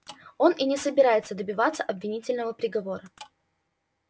он и не собирается добиваться обвинительного приговора